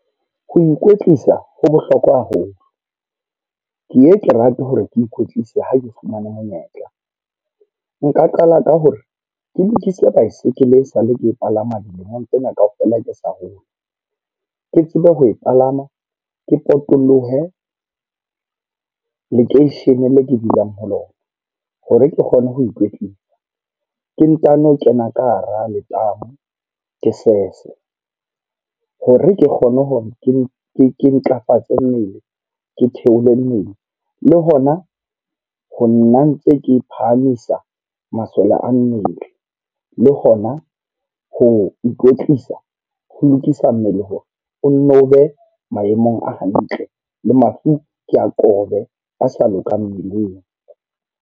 Ho ikwetlisa ho bohlokwa haholo. Mme ke rate hore ke ikwetlise ha ke so fumane monyetla. Nka qala ka hore, ke lokise baesekele e sale ke e palama lemong tsena kaofela ke sa hola. Ke tsebe ho e palama, ke potolohe lekeisheneng leo ke dulang ho lona, hore ke kgone ho ikwetlisa. Ke ntano ho kena ka hara letamo ke sese, hore ke kgone hore ke ke ke ntlafatse mmele, ke theole mmele. Le hona ho nna ntse ke e phahamisa masole a mmele. Le hona ho ikwetlisa ho lokisa mmele hore o nno be maemong a hantle, le mafu ke a kobe a sa lokang mmeleng mona.